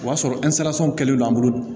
O y'a sɔrɔ kɛlen do an bolo